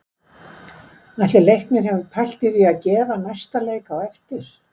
Ætli Leiknir hafi pælt í því að gefa næsta leik á eftir?